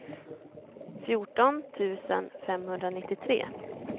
fjorton tusen femhundranittiotre